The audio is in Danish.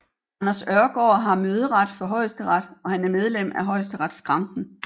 Anders Ørgaard har møderet for Højesteret og han er medlem af Højesteretsskranken